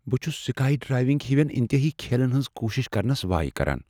بہٕ چھس sky diving ہوین انتہٲیی کھیلن ہنز كوشِش كرنس وایہ كران ۔